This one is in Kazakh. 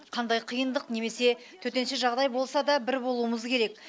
қандай қиындық немесе төтенше жағдай болса да бір болуымыз керек